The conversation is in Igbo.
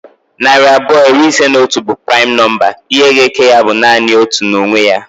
Narị abụọ iri ise na otu bụ primu nọmba. Ihe ga eke ya bụ nanị otu na onwe ya